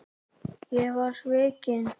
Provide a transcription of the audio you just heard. Ég var svikinn